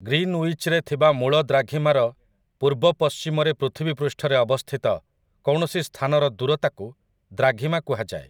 ଗ୍ରୀନଉଇଚ୍‌ରେ ଥିବା ମୂଳ ଦ୍ରାଘିମାର ପୂର୍ବ ପଶ୍ଚିମରେ ପୃଥିବୀ ପୃଷ୍ଠରେ ଅବସ୍ଥିତ କୌଣସି ସ୍ଥାନର ଦୂରତାକୁ ଦ୍ରାଘିମା କୁହାଯାଏ ।